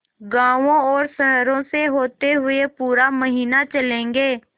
गाँवों और शहरों से होते हुए पूरा महीना चलेंगे